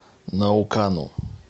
наукану